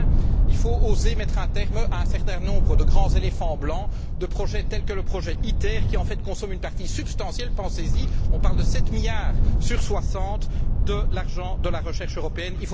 Enfin, il faut oser mettre un terme à un certain nombre de grands éléphants blancs, de projets tels que le projet ITER qui, en fait, consomme une partie substantielle, pensez y, puisqu'on parle de 7 milliards sur 60, de l'argent de la recherche européenne.